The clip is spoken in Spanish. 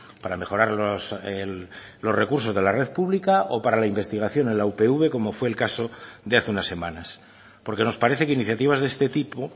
para mejorar los recursos de la red pública o para la investigación en la upv como fue el caso de hace unas semanas porque nos parece que iniciativas de este tipo